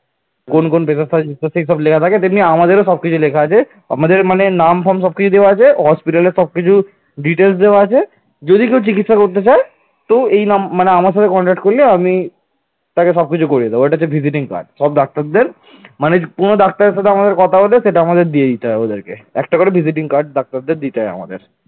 তো এই নাম মানে আমার সাথে contact করিয়ে আমি তাকে সবকিছু করিয়ে দেব এটা হচ্ছে visiting card সব ডাক্তারদের মানে কোন ডাক্তারের সাথে এটা আমাদের দিয়ে দিতে হবে ওদেরকে একটা করে ভিজিটিং কার্ড ডাক্তারদের দিতে হয় আমাদের